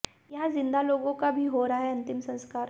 यहां जिंदा लोगों का भी हो रहा है अंतिम संस्कार